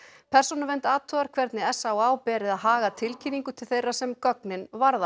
persónuvernd athugar hvernig s á á beri að haga tilkynningu til þeirra sem gögnin varða